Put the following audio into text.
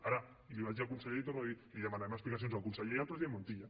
ara i li ho vaig dir al conseller i ho torno a dir demanarem explicacions al conseller i al president montilla